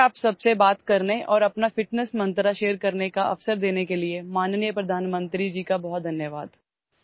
مجھے آپ سب سے بات کرنے اور اپنے فٹنس منتر کو ساجھا کرنے کا موقع دینے کے لیے عزت مآب وزیر اعظم کا بہت شکریہ